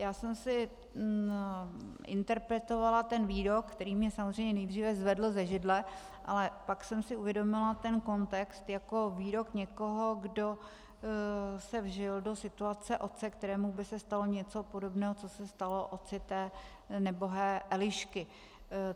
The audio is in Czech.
Já jsem si interpretovala ten výrok, který mě samozřejmě nejdříve zvedl ze židle, ale pak jsem si uvědomila ten kontext jako výrok někoho, kdo se vžil do situace otce, kterému by se stalo něco podobného, co se stalo otci té nebohé Elišky.